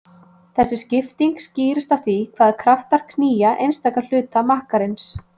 Þessi skipting skýrist af því hvaða kraftar knýja einstaka hluta makkarins.